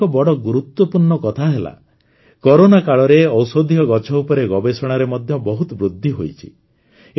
ଆଉ ଏକ ବଡ଼ ଗୁରୁତ୍ୱପୂର୍ଣ୍ଣ କଥା ହେଲା କରୋନା କାଳରେ ଔଷଧୀୟ ଗଛ ଉପରେ ଗବେଷଣାରେ ମଧ୍ୟ ବହୁତ ବୃଦ୍ଧି ହୋଇଛି